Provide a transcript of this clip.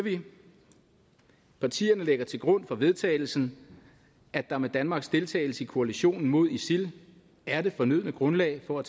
partierne lægger til grund for vedtagelsen at der med danmarks deltagelse i koalitionen mod isil er det fornødne grundlag for at